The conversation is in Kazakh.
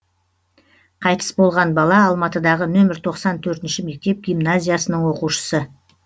қайтыс болған бала алматыдағы нөмір тоқсан төртінші мектеп гимназиясының оқушысы